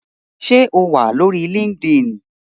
Ṣé o wà lórí líkídíìnì?